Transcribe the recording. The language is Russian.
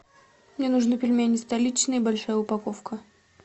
мне нужны пельмени столичные большая упаковка